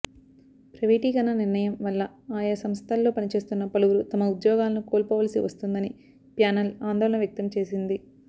ప్రైవేటీకరణ నిర్ణయం వల్ల ఆయా సంస్థల్లో పనిచేస్తున్న పలువురు తమ ఉద్యోగాలను కోల్పోవలసి వస్తుందని ప్యానెల్ ఆందోళన వ్యక్తం చేసింది